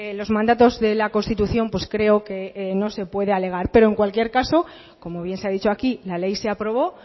los mandatos de la constitución pues creo que no se puede alegar pero en cualquier caso como bien se ha dicho aquí la ley se aprobó